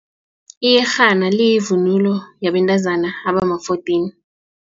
Iyerhena liyivunulo embathwa bentazana abama-fourteen.